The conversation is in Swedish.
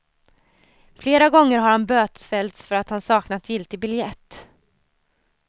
Flera gånger har han bötfällts för att han saknat giltig biljett.